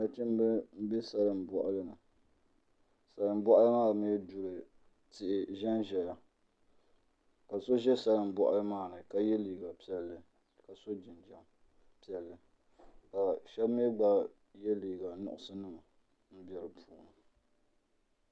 Nachimbi n bɛ salin boɣali ni salin boɣali maa mii duli tihi n ʒɛnʒɛya ka so ʒɛ salin boɣali maa ni ka yɛ liiga piɛlli ka so jinjɛm piɛlli ka shab mii gba yɛ liiga nuɣso nima bɛ di puuni